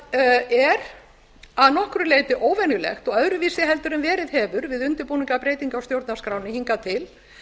sem er að nokkru leyti óvenjulegt og öðruvísi en verið hefur við undirbúning að breytingu á stjórnarskránni hingað til